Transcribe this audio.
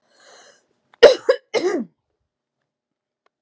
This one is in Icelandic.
Einn maður lést